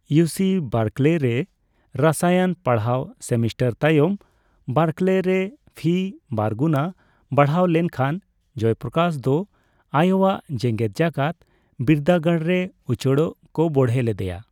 UC Berkeley ᱨᱮ ᱨᱚᱥᱟᱭᱚᱱ ᱯᱟᱲᱦᱟᱣ ᱥᱮᱢᱤᱥᱴᱟᱨ ᱛᱟᱭᱚᱢ, ᱵᱟᱨᱠᱞᱮᱹ ᱨᱮ ᱯᱷᱤ ᱵᱟᱨ ᱜᱩᱱ ᱵᱟᱲᱦᱟᱣ ᱞᱮᱱ ᱠᱷᱟᱱ ᱡᱚᱭᱯᱨᱚᱠᱟᱥ ᱫᱚ ᱟᱭᱳᱣᱟ ᱡᱮᱜᱮᱫᱡᱟᱠᱟᱛ ᱵᱤᱨᱫᱟᱹ ᱜᱟᱲ ᱨᱮ ᱩᱪᱟᱹᱲᱚᱜ ᱠᱚ ᱵᱚᱦᱲᱮ ᱞᱮᱫᱮᱭᱟ ᱾